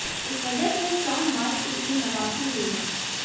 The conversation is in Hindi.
इस वजह से शॉन मार्श की टीम में वापसी हुई है